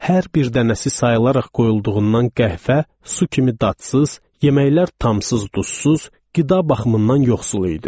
Hər bir dənəsi sayıılaraq qoyulduğundan qəhvə su kimi dadsız, yeməklər tamsız, duzsuz, qida baxımından yoxsul idi.